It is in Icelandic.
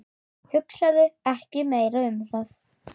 Hugsaðu ekki meira um það.